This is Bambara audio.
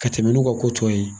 Ka tɛmɛn n'u ka ko tɔ ye